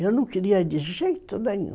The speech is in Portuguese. Eu não queria de jeito nenhum.